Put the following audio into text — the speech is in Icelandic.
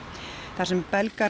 þar sem Belgar